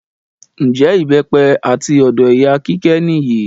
Njẹ ìbépẹ àti ọ̀dọ ìyá kíké níyì?